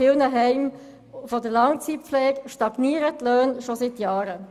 in vielen Heimen der Langzeitpflege stagnieren die Löhne schon seit Jahren.